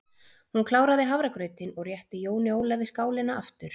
Hún kláraði hafragrautinn og rétti Jóni Ólafi skálina aftur.